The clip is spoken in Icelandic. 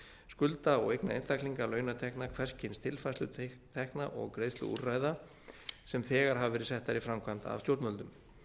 skulda og eigna einstaklinga launatekna hvers kyns tilfærslu tekna og greiðsluúrræða sem þegar hafa verið settar í framkvæmd af stjórnvöldum